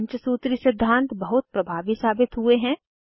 पंचसूत्री सिद्धांत बहुत प्रभावी साबित हुए हैं